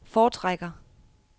foretrækker